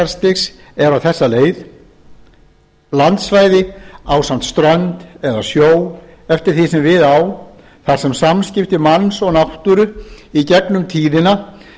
er á þessa leið landsvæði ásamt strönd eða sjó eftir því sem við á þar sem samskipti manns og náttúru í gegnum tíðina